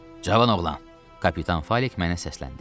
Cavan oğlan, kapitan Falik mənə səsləndi.